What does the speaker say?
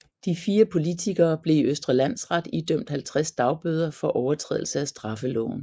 De fire politikere blev i Østre Landsret idømt 50 dagbøder for overtrædelse af straffeloven